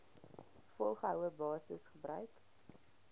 volgehoue basis gebruik